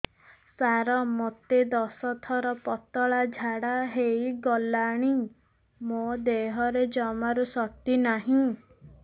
ସାର ମୋତେ ଦଶ ଥର ପତଳା ଝାଡା ହେଇଗଲାଣି ମୋ ଦେହରେ ଜମାରୁ ଶକ୍ତି ନାହିଁ